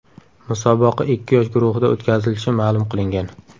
Musobaqa ikki yosh guruhida o‘tkazilishi ma’lum qilingan.